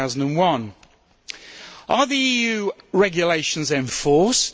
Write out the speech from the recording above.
2001. Are the EU regulations enforced?